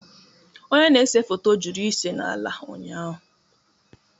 Onye na-ese foto jụrụ ịse n'ala ụnyahụ